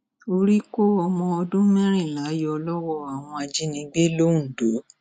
orí kó ọmọ ọdún mẹrìnlá yọ lọwọ àwọn ajìnígbé londo